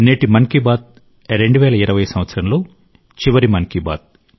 నేటి మన్ కి బాత్ 2020 సంవత్సరంలో చివరి మన్ కీ బాత్